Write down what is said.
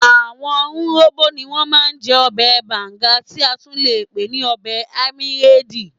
Àwọn urhobo ní wọ́n ma ń jẹ́ ọbẹ̀ banga tí a tún le pè ní ọbẹ̀ amiedi